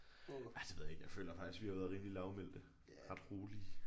Ej det ved jeg ikke jeg føler faktisk vi har været rimelig lavmælte ret rolige